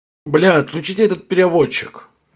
блядь отключите этот переводчик